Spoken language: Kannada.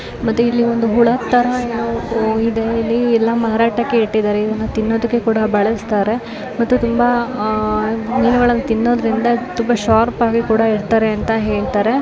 ಮತ್ತೆ ಇಲ್ಲಿ ಒಂದು ಹುಳ ತರ ಏನೋ ಇದೆ ಇದನ್ನ ಮಾರಾಟಕ್ಕೆ ಇಟ್ಟಿದ್ದಾರೆ ಇದನ್ನು ತಿನ್ನೋದಕ್ಕೆ ಕೂಡ ಬಳಸುತ್ತಾರೆ. ಮೀನುಗಳನ್ನು ತಿನ್ನೋದ್ರಿಂದ ತುಂಬಾ ಶಾರ್ಪ್ ಆಗಿ ಇರುತ್ತಾರೆ.